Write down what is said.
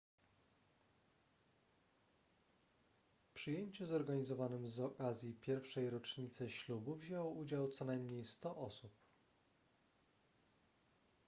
w przyjęciu zorganizowanym z okazji pierwszej rocznicy ślubu wzięło udział co najmniej 100 osób